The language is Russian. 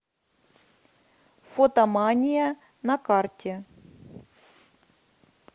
фотомания на карте